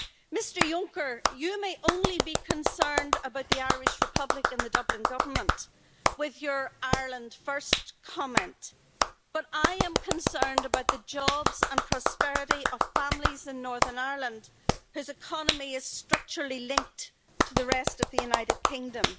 Mr Juncker, you may only be concerned about the Irish Republic and the Dublin government, with your Ireland first' comment, but I am concerned about the jobs and prosperity of families in Northern Ireland, whose economy is structurally linked to the rest of the United Kingdom.